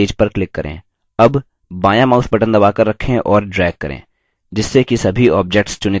अब बायाँ mouse button दबाकर रखें और drag करें जिससे कि सभी objects चुनित हो जाएँ